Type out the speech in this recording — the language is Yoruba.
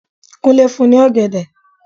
Kúnlé fún ní ọ̀gẹ̀dẹ̀.